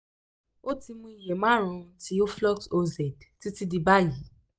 ó ti mu iye márùn-ún ti oflox oz títí di báyìí